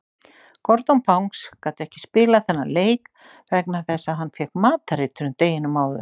Gordon Banks gat ekki spilað þennan leik vegna þess að hann fékk matareitrun deginum áður.